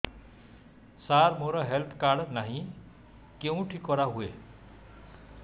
ସାର ମୋର health card ନାହିଁ କେଉଁଠି କରା ହୁଏ